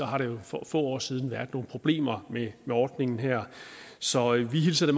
har der for få år siden været nogle problemer med ordningen her så vi hilser